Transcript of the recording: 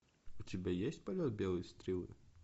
у тебя есть полет белой стрелы